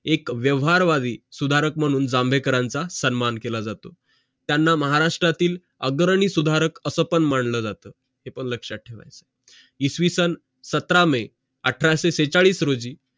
एक व्यवहार वादी सुधारक मानून जांभेकरांचा सन्मान केलं जातो त्यांना महाराष्ट्रातील अग्रणी सुधारक असं पण मानलं जाते हे पण लक्षात ठेवा इसवीसन सतरा मे अठराशे छेचाडीस रोजी